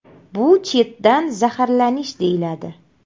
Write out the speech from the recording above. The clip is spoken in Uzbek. Bu chetdan zaharlanish deyiladi.